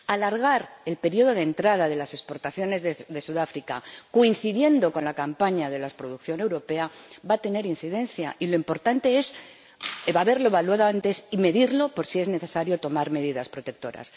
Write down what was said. Alargar el periodo de entrada de las exportaciones desde Sudáfrica, de manera que coincida con la campaña de la producción europea, va a tener incidencia, y lo importante es haberlo evaluado antes y medirlo por si es necesario tomar medidas protectoras.